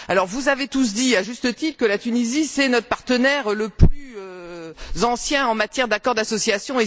Vous avez tous dit, à juste titre, que la Tunisie était notre partenaire le plus ancien en matière d'accord d'association